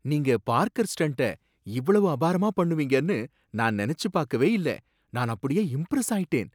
நீங்க parkour stunt இவ்வளவு அபாரமா பண்ணுவீங்கன்னு நான் நெனச்சு பாக்கவே இல்ல! நான் அப்படியே இம்ப்ரஸ் ஆயிட்டேன்!